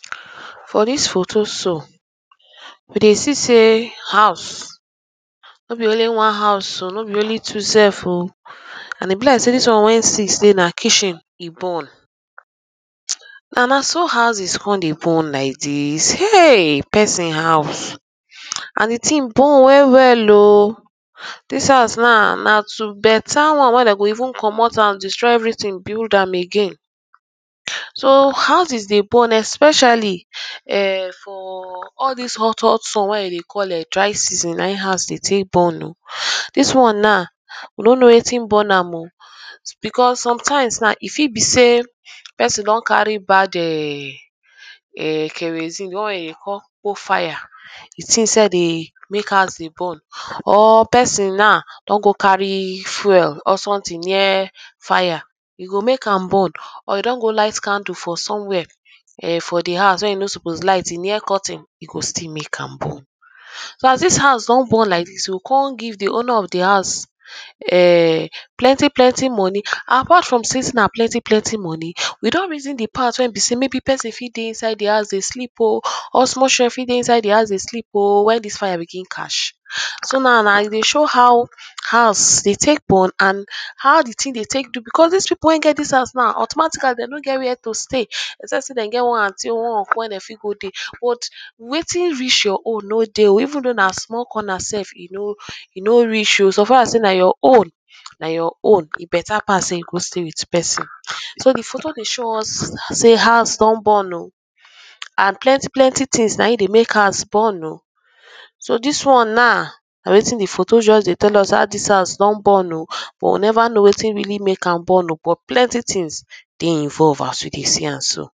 for dis photo so we dey see sey house no be only one house um no be only two sef um and e be like sey dis one wey six dey na kitchen e burn na naso houses come de burn like dis um person house and de ting burn wellwell um dis house naw na to better one wey dey go even comot am destroy everyting build am again so houses dey burn especially] um for all dis hothot sun wey dey de call um dry season na him houses dey take burn o dis one naw we no know wetin burn am o because sometimes naw e fit be sey person don carry bad[um][um] kerosene de one wey de dey call kpo fire de ting sef dey make house dey burn or person naw don go carry fuel or someting near fire e go make am burn or e don go light candle for somewhere um for de house wey e no suppose light e near curtain e go still make am burn so as dis house don burn like dis you go come give de owner of de house um plentyplenty money apart from um na plentiplenti money we don reason de part wey be sey maybe person fit dey inside de house dey sleep o or small children fit dey inside de house dey sleep o wen dis fire begin catch so naw na e dey show how house dey take burn and how de ting dey take do because dis pipu wey get de house naw automatically dem no get where to stay except sey dem get one aunty or one uncle wey dem fit go dey but wetin reach your own no dey even though na small corner sef e no go reach o so far as sey na your own na your own e better pass sey you go stay wit person so de photo dey show us sey house don burn o and plentyplenty tings na him dey make house burn [um]so dis one naw na wetin de photo just dey tell us ah dis house don burn o but we never know wetin really make am burn [um]but plenti tings dey involved as we dey see am so